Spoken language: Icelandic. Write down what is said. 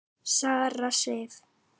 Sara Sif.